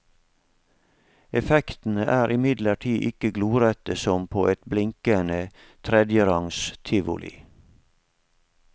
Effektene er imidlertid ikke glorete som på et blinkende, tredjerangs tivoli.